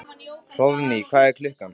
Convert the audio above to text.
Hróðný, hvað er klukkan?